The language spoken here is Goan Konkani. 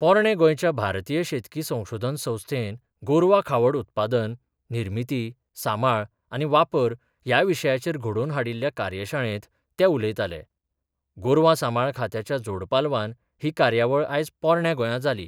पोरणें गोंयच्या भारतीय शेतकी संशोधन संस्थेन गोरवा खावड उत्पादन निर्मिती सांबाळ आनी वापर ह्या विशयाचेर घडोवन हाडिल्ल्या कार्यशाळेंत ते उलयताले गोरवा सांबाळ खात्याच्या जोडपालवान ही कार्यावळ आयज पोरण्या गोंया जाली.